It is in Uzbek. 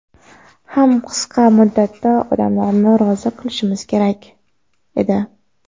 ham qisqa muddatda odamlarni rozi qilishimiz kerak edi.